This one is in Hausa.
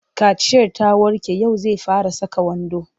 Kaciyar ta warke yau zai fara saka wando.